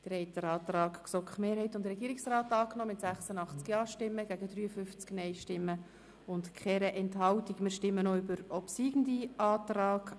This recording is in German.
Sie haben den Antrag von GSoK-Mehrheit und Regierungsrat mit 86 Ja- gegen 53 NeinStimmen bei 0 Enthaltungen angenommen.